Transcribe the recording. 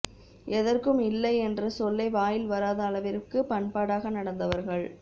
எதற்கும் இல்லை என்ற சொல்லே வாயில் வராத அளவிற்கு பண்பாடாக நடந்தவர்கள்